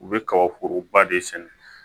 U bɛ kaba foroba de sɛnɛ